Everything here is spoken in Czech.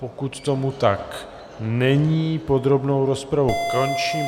Pokud tomu tak není, podrobnou rozpravu končím.